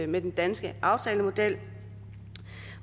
med den danske aftalemodel